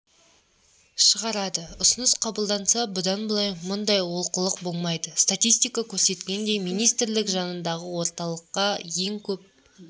шығарады ұсыныс қабылданса бұдан бұлай мұндай олқылық болмайды статистика көрсеткендей министрлік жанындағы орталыққа ең көп